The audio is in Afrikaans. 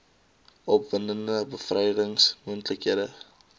opwindende bevrydings moontlikhede